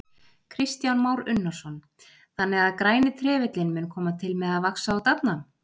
Kristján Már Unnarsson: Þannig að græni trefillinn mun koma til með að vaxa og dafna?